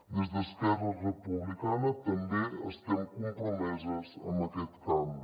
des d’esquerra republicana també estem compromeses amb aquest canvi